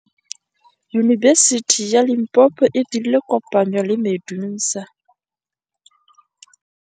Yunibesiti ya Limpopo e dirile kopanyô le MEDUNSA.